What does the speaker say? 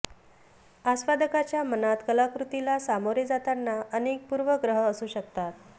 आस्वादकाच्या मनात कलाकृतीला सामोरे जाताना अनेक पूर्वग्रह असू शकतात